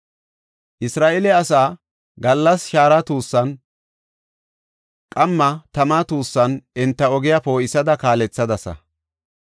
Isra7eele asaa gallas shaara tuussan, qamma tama tuussan enta ogiya poo7isada kaalethadasa.